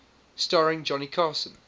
starring johnny carson